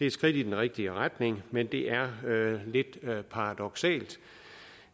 et skridt i den rigtige retning men det er lidt paradoksalt